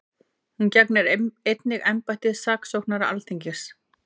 Hún gegnir einnig embætti saksóknara Alþingis